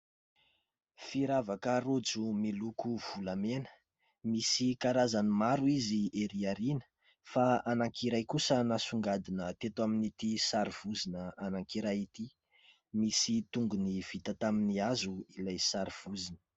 Firavaka rojo miloko volamena ; misy karazany maro izy ery aoriana ; fa anankiray kosa nasongadina teto amin'ity sary vozona anankiray ity. Misy tongony vita tamin'ny hazo ilay sary vozona.